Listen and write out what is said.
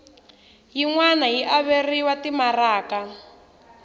yin wana yi averiwa timaraka